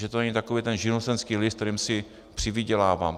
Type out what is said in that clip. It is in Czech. Že to není takový ten živnostenský list, kterým si přivydělávám.